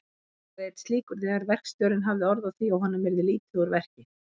sagði einn slíkur þegar verkstjórinn hafði orð á því að honum yrði lítið úr verki.